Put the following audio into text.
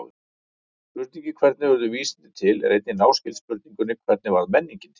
Spurningin hvernig urðu vísindi til er einnig náskyld spurningunni hvernig varð menningin til?